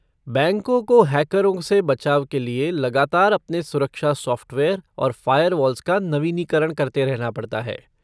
बैंकों को हैकरों से बचाव के लिए लगातार अपने सुरक्षा सॉफ़्टवेयर और फ़ायरवॉल्स का नवीनीकरण करते रहना पड़ता है।